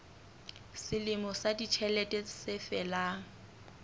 selemo sa ditjhelete se felang